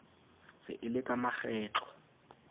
se e le ka makgetlo